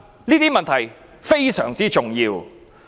這些問題非常重要。